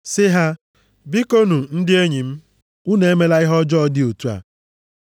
sị ha, “Bikonu, ndị enyi m, unu emela ihe ọjọọ dị otu a.